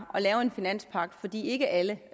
lave en finanspagt fordi ikke alle